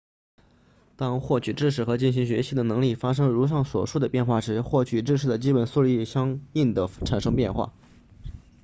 当获取知识和进行学习的能力发生如上所述的变化时获取知识的基本速率也相应地产生变化